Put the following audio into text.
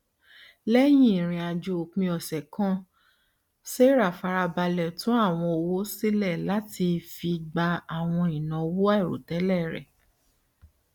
lẹyìn ìrìn àjò òpin ọsẹ kan sarah fara balẹ tún àwọn owó sílẹ láti fi gba àwọn ìnáwó àìròtẹlẹ rẹ